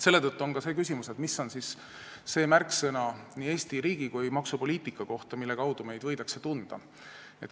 Selle tõttu on ka see küsimus, mis on siis see märksõna nii Eesti riigi kui ka maksupoliitika kohta, mille kaudu meid võidakse tunda.